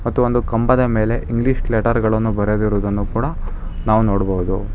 ಮತ್ತು ಒಂದು ಕಂಬದ ಮೇಲೆ ಇಂಗ್ಲಿಷ್ ಲೆಟರ್ ಗಳನ್ನು ಬರೆದಿರುವುದನ್ನು ಕೂಡ ನಾವು ನೋಡ್ಬೋದು.